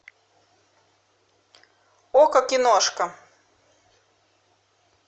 окко киношка